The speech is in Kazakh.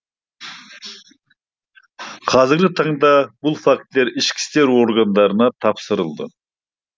қазіргі таңда бұл фактілер ішкі істер органдарына тапсырылды